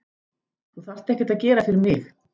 Þú þarft ekkert að gera fyrir mig.